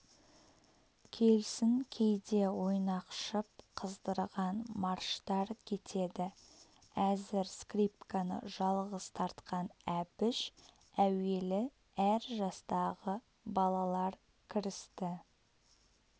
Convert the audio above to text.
келсін кейде ойнақшып қыздырған марштар кетеді әзір скрипканы жалғыз тартқан әбіш әуелі әр жастағы балалар кірісті